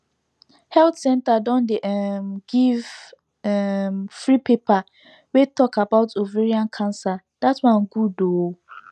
health centre don dey um give um free paper wey talk about ovarian cancer that one good ooo